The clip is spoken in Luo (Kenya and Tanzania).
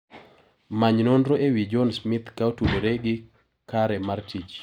Many nonro ewi John Smith ka otudore gi kare mar tich.